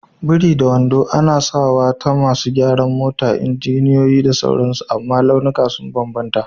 biri da wando, ana sawa ta masu gyaran mota, injiniyoyi, da sauransu amma launuka sun bambanta.